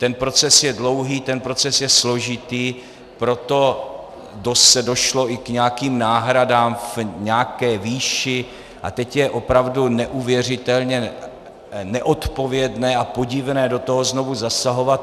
Ten proces je dlouhý, ten proces je složitý, proto se došlo i k nějakým náhradám v nějaké výši a teď je opravdu neuvěřitelně neodpovědné a podivné do toho znovu zasahovat.